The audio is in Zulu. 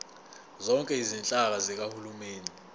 zonke izinhlaka zikahulumeni